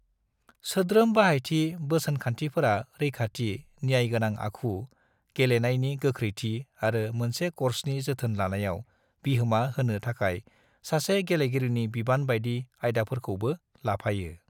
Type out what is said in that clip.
सोद्रोम बाहायथि बोसोनखान्थिफोरा रैखाथि, न्याय गोनां आखु, गेलेनायनि गोख्रैथि आरो मोनसे कर्सनि जोथोन लानायाव बिहोमा होनो थाखाय सासे गेलेगिरिनि बिबान बायदि आयदाफोरखौबो लाफायो।